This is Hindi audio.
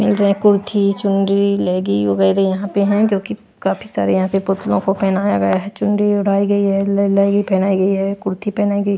कुर्थी चुंडी लेगी वगैरह यहां पे है क्योंकि? काफी सारे यहां पे पुतलों को पहनाया गया है चुंडी उड़ाई गई है लेगी पहनाई गई है कुर्ती पहनाई गई--